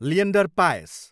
Leander Paes